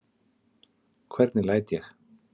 Hvernig læt ég?